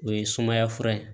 O ye sumaya fura ye